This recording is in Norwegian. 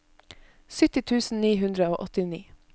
sytti tusen ni hundre og åttini